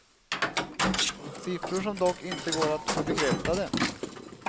Siffror som dock inte går att få bekräftade.